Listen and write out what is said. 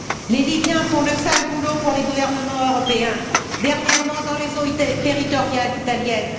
Les Libyens font le sale boulot pour les gouvernements européens, dernièrement dans les eaux territoriales italiennes.